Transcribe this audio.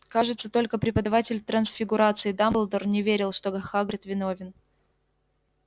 кажется только преподаватель трансфигурации дамблдор не верил что хагрид виновен